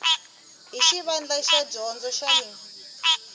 hi xivandla xa dyondzo xin